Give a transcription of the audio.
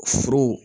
Furu